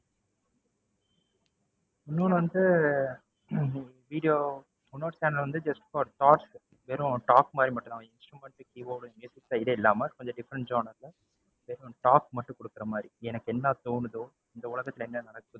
இன்னொன்னு வந்து hmm video இன்னொரு channel வந்து just for talk வெறும் talk மாதிரி மட்டும் தான். instrument, keyboard இல்லாம கொஞ்சம் different genre ல different talk மட்டும் குடுக்குற மாதிரி எனக்கு என்ன தோணுதோ, இந்த உலகத்துல என்ன நடக்குதோ.